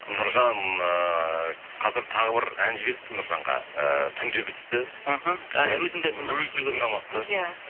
нұржан ыыы қазір тағы бір ән жіберіпті нұржанға ыыы түнде бітіпті мхм әлі өзімде өзі де тыңдамапты иә